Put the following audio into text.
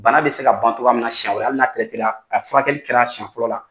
Bana bɛ se ka ban togoya min na siyɛn wɛrɛ hali n'a a furakɛli kɛra siyɛn fɔlɔ la.